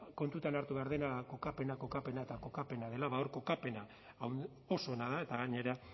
kontutan hartu behar dena kokapena kokapena eta kokapena dela bada hor kokapena oso ona da eta gainera